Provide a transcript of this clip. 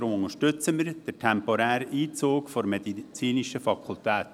Deshalb unterstützen wir den temporären Einzug der medizinischen Fakultät.